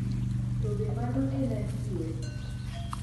To be mano en adier?